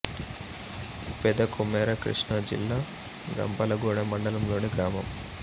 పెద కొమెర కృష్ణా జిల్లా గంపలగూడెం మండలం లోని గ్రామం